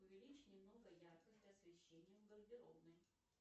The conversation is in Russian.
увеличь немного яркость освещения в гардеробной